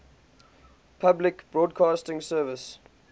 public broadcasting service